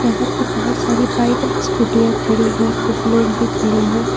वहां पे बहोत सारी बाइक और स्कूटीयां खड़ी है कुछ लोग भी खड़े हैं।